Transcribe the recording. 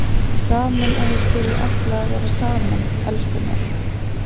Gaman að þið skuluð ætla að vera saman, elskurnar!